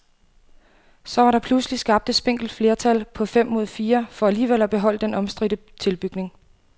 Så var der pludselig skabt et spinkelt flertal på fem mod fire for alligevel at beholde den omstridte tilbygning.